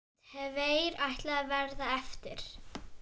Tveir ætluðu að verða eftir.